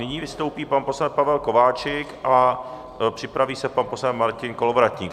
Nyní vystoupí pan poslanec Pavel Kováčik a připraví se pan poslanec Martin Kolovratník.